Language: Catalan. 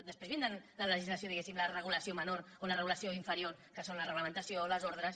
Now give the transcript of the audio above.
després vindrà la legislació diguéssim la regulació menor o la regulació inferior que són la reglamentació les ordres